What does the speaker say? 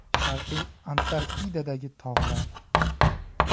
Sharqiy Antarktidadagi tog‘lar.